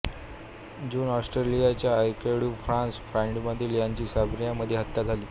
जून ऑस्ट्रियाचा archduke Franz Ferdinand याची सर्बियामध्ये हत्या झाली